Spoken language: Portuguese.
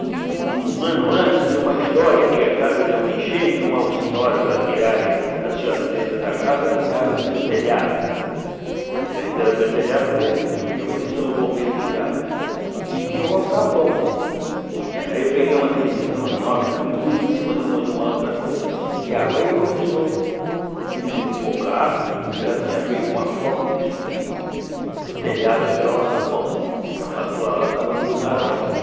um ano antes tinha uma história que a casa deu uma enchente e uma senhora para tirarem a senhora de dentro da casa tiraram pelo telhado porque não tinha condição os bombeiros tiraram e tinha o alçapão aí eu peguei uma televisão enorme também pus em cima de uma outra coisa e a água aí começou diminuiu um pouco a água e eu já tinha feito uma forma de subir para o telhado pelo alçapão porque a patroa lá estava num lugar alto né